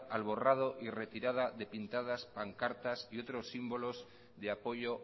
al borrado y retirada de pintadas pancartas y otros símbolos de apoyo